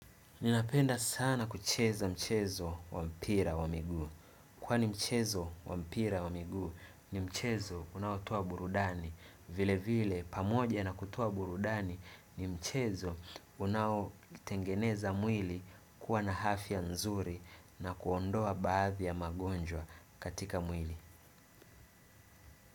Ninapenda sana kucheza mchezo wa mpira wa miguu. Kwa ni mchezo wa mpira wa miguu ni mchezo unaotoa burudani. Vile vile pamoja na kutoa burudani ni mchezo unaotengeneza mwili kuwa na afya nzuri na kuondoa baadhi ya magonjwa katika mwili.